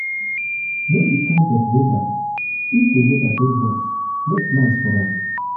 know di kind of di kind of weather if di weather dey hot make plans for am